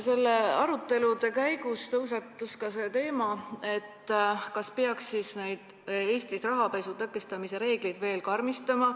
Nende arutelude käigus tõusetus ka teema, kas peaks Eestis rahapesu tõkestamise reegleid veel karmistama.